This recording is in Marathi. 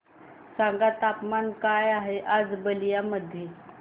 सांगा तापमान काय आहे आज बलिया मध्ये